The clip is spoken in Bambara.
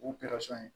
U kɛra sɔn ye